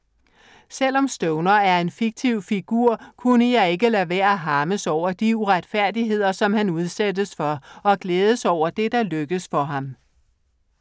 Selvom Stoner er en fiktiv figur kunne jeg ikke lade være harmes over de uretfærdigheder, som han udsættes for og glædes over det, som lykkes for ham.